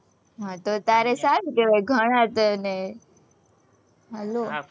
હમ તો તારે સારું કહેવાય, ઘણા તને hello